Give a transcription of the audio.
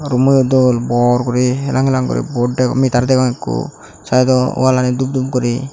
rummo yo dol bor gori helang helang guri bot degong meter degong ikko saido wallani dub dub guri.